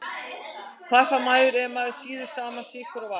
Hvað fær maður ef maður sýður saman sykur og vatn?